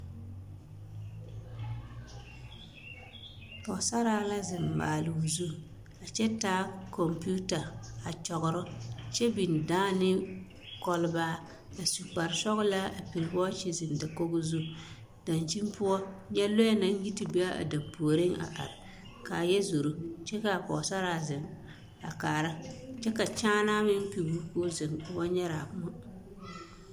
Pɔgesaraa la zeŋ maale o zu a kyɛ taa kɔmpiita a kyɔgerɔ kyɛ biŋ dãã ne kɔlbaa a su kpare sɔgelaa a piri wɔɔkye zeŋ dakogi zu dankyini poɔ nyɛ lɔɛ naŋ yi te be a dampuoriŋ a are k'a yɛ zoro kyɛ k'a Pɔgesaraa zeŋ a kaara kyɛ ka kyaanaa meŋ pigi o k'o zeŋ o ba nyɛrɛ a poɔ.